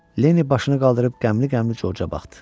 Lenni başını qaldırıb qəmli-qəmli Corca baxdı.